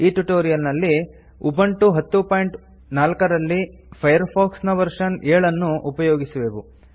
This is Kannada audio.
ಈ ಟ್ಯುಟೋರಿಯಲ್ ನಲ್ಲಿ ನಾವು ಉಬುಂಟು 1004 ರಲ್ಲಿ ಫೈರ್ಫಾಕ್ಸ್ ನ ವರ್ಷನ್ 70 ಅನ್ನು ಉಪಯೋಗಿಸುವೆವು